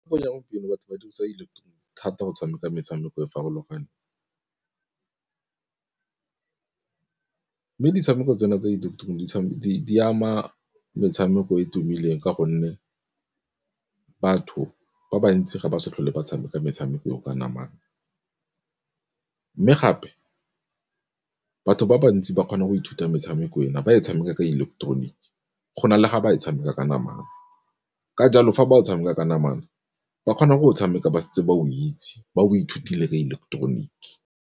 Gompieno batho ba dirisa thata go tshameka metshameko e farologaneng, mme ditshameko tsena tse di eleketeroniki di ama metshameko e tumileng ka gonne batho ba bantsi ga ba sa tlhole ba tshameka metshameko eo ka namang. Mme gape batho ba bantsi ba kgona go ithuta metshameko ena ba tshameka ka ileketeroniki go na le ga ba e tshameka ka namana, ka jalo fa ba tshameka ka namana ba kgona go o tshameka ba setse ba o itse ba o ithutile re ileketeroniki.